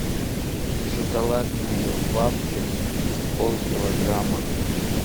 шоколадные вафли полкилограмма